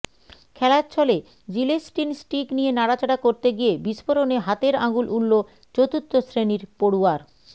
খেলাচ্ছলে gelatin stick নিয়ে নাড়াচাড়া করতে গিয়ে বিস্ফোরণে হাতের আঙুল উড়ল চতুর্থ শ্রেণির পড়ুয়ার